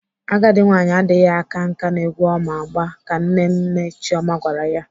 Agadi nwaanyị adịghị aka nkà n'egwu ọ ma agba ka Nne nne Chioma gwara ya.